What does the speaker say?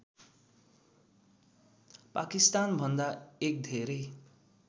पाकिस्तानभन्दा एक धेरै